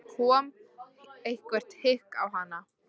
Þá kom eitthvert hik á hana.